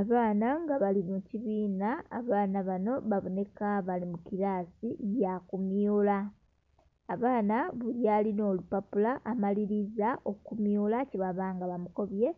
Abaana nga bali babiri nga abaana banho babonheka bali mukirasi yakumyula, abaana buli alinha olupapula amaliliza okumyula kyebabanga bamukobye